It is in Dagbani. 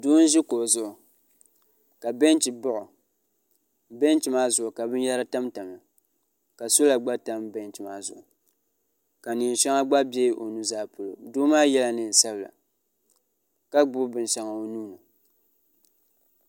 do n ʒɛ kuɣ' zuɣ' ka bɛnchɛ baɣ' o bɛnchɛ maa zuɣ' ka bɛn yara tamtamiya ka sola gba tam bɛnchɛ maa zuɣ' ka nɛɛ nyɛŋa gba bɛ o nuu zaa polo do maa yala nɛɛn sabila ka gbani bɛn shɛŋa o nuuni